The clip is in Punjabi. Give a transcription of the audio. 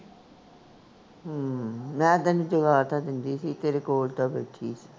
ਹੂੰ ਮੈਂ ਤੈਨੂੰ ਜਗਾ ਤਾਂ ਦਿੰਦੀ ਸੀ ਤੇਰੇ ਕੋਲ ਤਾਂ ਬੈਠੀ ਸੀ